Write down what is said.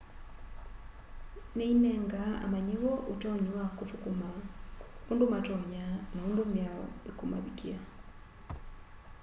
ni inengaa amanyiwa utonyi wa kuthukuma undu matonya na undu miao ikumavikia